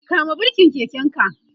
kama birken keken ka!